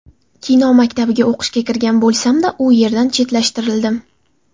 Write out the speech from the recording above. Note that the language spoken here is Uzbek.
Kino maktabiga o‘qishga kirgan bo‘lsamda, u yerdan chetlashtirildim.